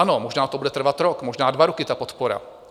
Ano, možná to bude trvat rok, možná dva roky, ta podpora.